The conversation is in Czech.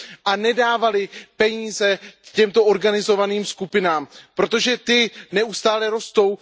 a nedávali peníze těmto organizovaným skupinám, protože ty neustále rostou.